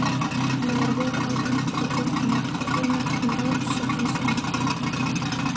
Henni varð vel ágengt og birti margar greinar um rannsóknir sínar.